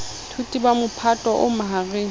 baithuti ba mophato o mahareng